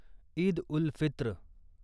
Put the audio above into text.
Eid ul Fitr